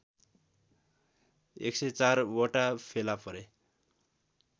१०४ वटा फेला परे